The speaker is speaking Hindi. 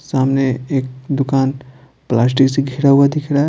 सामने एक दुकान प्लास्टिक से घिरा हुआ दिख रहा है।